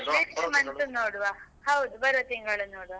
month ನೋಡ್ವ ಹೌದು ಬರುವ ತಿಂಗಳು ನೋಡ್ವಾ